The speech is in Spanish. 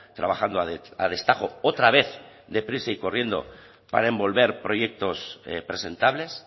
trabajando a destajo otra vez deprisa y corriendo para envolver proyectos presentables